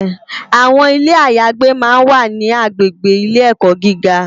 Awòn Ilé àyágbé mà n wá ni àgbégbé Ilé èkò gigá